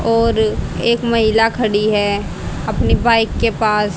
और एक महिला खड़ी है अपनी बाइक के पास--